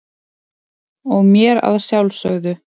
og mér að sjálfsögðu.